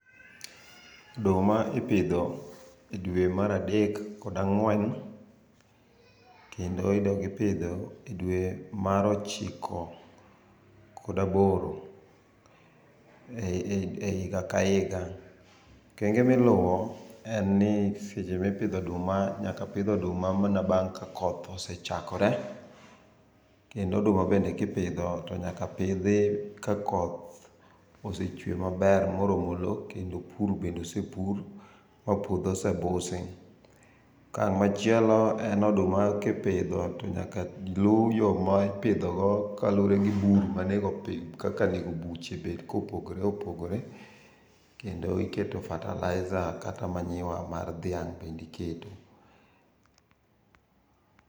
Oduma ipidho e dwe mar adek kod angwen kendo idog ipidho e dwee mar ochiko kod aboro e higa ka higa. Okenge miluwo en ni seche mipidho oduma nyaka pidh oduma mana bang ka koth osechakore kendo oduma bende kipidho to nyaka pidhi ka koth osechwe maber moromo loo kendo pur bende osepur mapuodho osebusi. Okang machielo en oduma kipidho to nyaka luu yoo ma ipidho go koluore gi bur mane go kaka onego buche obed ka opogore opogore kendo iketo fertilizer kata manyuwa mar dhiang bende iketo